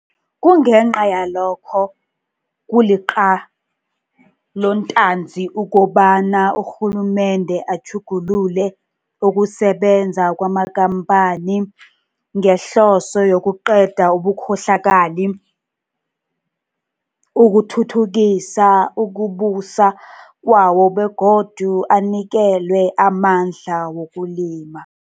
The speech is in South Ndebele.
Kungenca yalokho kuliqalontanzi ukobana urhulumende atjhugulule ukusebenza kwamakhampani ngehloso yokuqeda ubukhohlakali, ukuthuthukisa ukubusa kwawo begodu anikelwe amandla wokulima